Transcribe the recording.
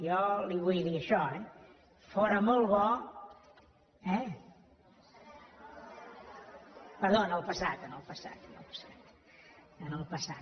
jo li vull dir això eh fóra molt bo eh perdó en el passat en el passat en el passat